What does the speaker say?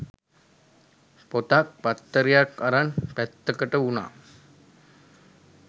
පොතක් පත්තරයක් අරන් පැත්තකට වුනා.